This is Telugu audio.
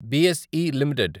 BSE limited